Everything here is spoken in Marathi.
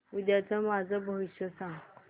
उद्याचं माझं भविष्य सांग